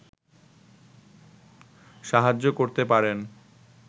সাহায্য করতে পারেন